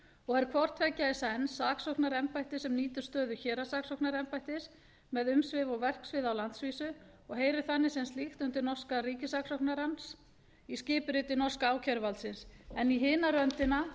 og er hvort tveggja í senn saksóknaraembætti sem nýtur stöðu héraðssaksóknaraembættis með umsvif og verksvið á landsvísu og heyrir þannig sem slíkt undir norska ríkissaksóknarann í skipuriti norska ákæruvaldsins en í hina röndina